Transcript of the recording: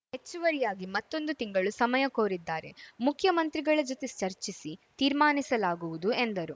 ಹೆಚ್ಚುವರಿಯಾಗಿ ಮತ್ತೊಂದು ತಿಂಗಳು ಸಮಯ ಕೋರಿದ್ದಾರೆ ಮುಖ್ಯಮಂತ್ರಿಗಳ ಜತೆ ಚರ್ಚಿಸಿ ತೀರ್ಮಾನಿಸಲಾಗುವುದು ಎಂದರು